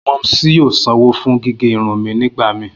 Momsy yoo sanwo fun gige irun mi nigbamii.